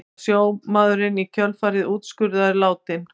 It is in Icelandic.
Var sjómaðurinn í kjölfarið úrskurðaður látinn